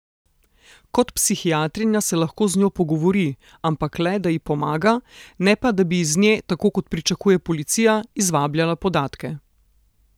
Kot psihiatrinja se lahko z njo pogovori, ampak le, da ji pomaga, ne pa, da bi iz nje, tako kot pričakuje policija, izvabljala podatke.